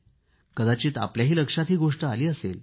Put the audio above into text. कदाचित आपल्याही लक्षात ही गोष्ट आली असेल